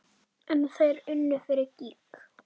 En þeir unnu fyrir gýg.